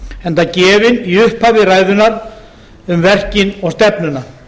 enda gefin í upphafi ræðunnar um verkin og stefnuna